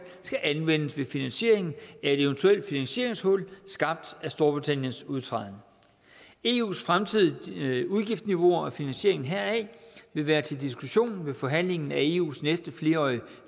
skal anvendes ved finansieringen af et eventuelt finansieringshul skabt af storbritanniens udtræden eus fremtidige udgiftsniveau og finansieringen heraf vil være til diskussion ved forhandlingen af eus næste flerårige